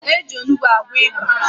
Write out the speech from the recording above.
Eji Onugbu agwọ ịba